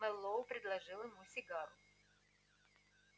мэллоу предложил ему сигару